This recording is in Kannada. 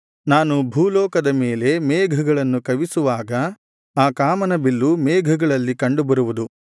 ನಾನು ಭೂಲೋಕದ ಮೇಲೆ ಮೇಘಗಳನ್ನು ಕವಿಸುವಾಗ ಆ ಕಾಮನಬಿಲ್ಲು ಮೇಘಗಳಲ್ಲಿ ಕಂಡುಬರುವುದು